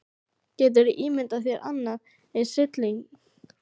Geturðu ímyndað þér annan eins hrylling.